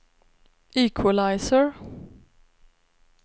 equalizer